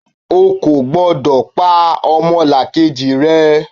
O kò gbọ́dọ̀ pa ọmọlàkejì rẹ!